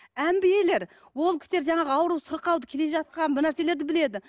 әмбиелер ол кісілер жаңағы ауру сырқауды келе жатқан бір нәрселерді біледі